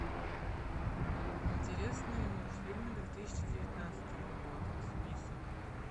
интересные мультфильмы две тысячи девятнадцатого года список